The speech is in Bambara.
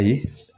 Ayi